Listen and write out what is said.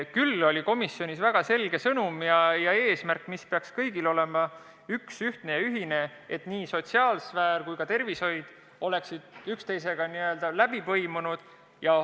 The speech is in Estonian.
Küll kõlas komisjonis väga selge sõnum ja eesmärk, mis peaks meil kõigil olema üks ja ühine: sotsiaalsfäär ja tervishoid peaksid olema omavahel läbipõimunud.